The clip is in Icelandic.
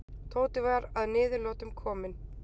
Tóti var að niðurlotum kominn.